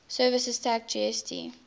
services tax gst